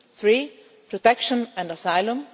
three protection and asylum